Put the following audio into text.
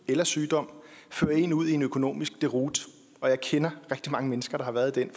eller sygdom fører en ud i en økonomisk deroute og jeg kender til rigtig mange mennesker har været i den